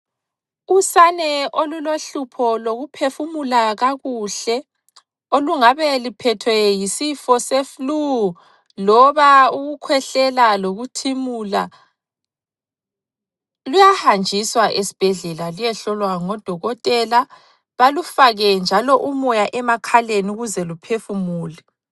Usane olulohlupho lokuphefumula kakuhle olungabe luphethwe yisifo seflu loba ukukhwehlela lokuthimula luyahanjiswa esibhedlela luyehlolwa ngo dokotela balufake njalo umoya emakhaleni ukuze luphefumule.